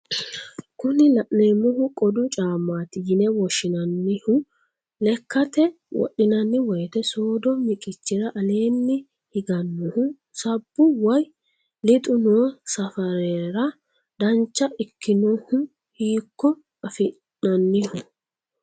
Kuni la'neemmohu qodu caammaati yine woshshinannihu lekjate wodhinanni woyiite soodo miqichira aleenni higannohu sabbu woye lixu noo safarera dancha ikkinohu hiikko afi'naanniho?